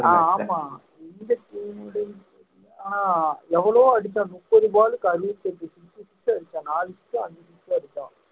அஹ் ஆமா எவ்வளவோ அடிச்ச முப்பது ball க்கு அறுபத்தஞ்சு நாலு அஞ்சு எடுத்தா